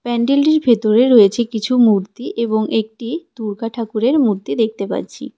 প্যান্ডেলটির ভেতরে রয়েছে কিছু মূর্তি এবং একটি দুর্গা ঠাকুরের মূর্তি দেখতে পাচ্ছি.